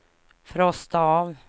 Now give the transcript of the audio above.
frosta av